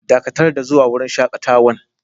Dakatar da zuwa wurin shakatawan!